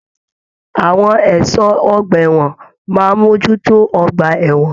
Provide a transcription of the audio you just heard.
Àwọn ẹṣọ ọgbà ẹwọn máa n mojútó ọgbà ẹwọn.